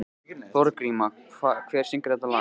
Þorgríma, hver syngur þetta lag?